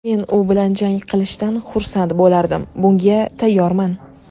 Men u bilan jang qilishdan xursand bo‘lardim, bunga tayyorman.